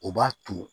O b'a to